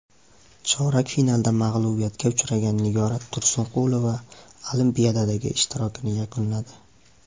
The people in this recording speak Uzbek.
Chorak finalda mag‘lubiyatga uchragan Nigora Tursunqulova Olimpiadadagi ishtirokini yakunladi.